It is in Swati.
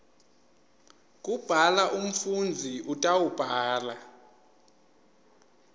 kubhala umfundzi utawubhala